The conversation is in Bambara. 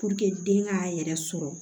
den k'a yɛrɛ sɔrɔ